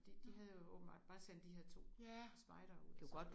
De de havde åbenbart bare sendt de her to spejdere ud så